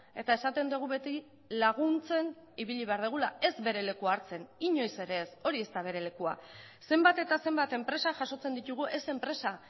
eta esaten dugu beti laguntzen ibili behar dugula ez bere lekua hartzen inoiz ere ez hori ez da bere lekua zenbat eta zenbat enpresa jasotzen ditugu ez enpresa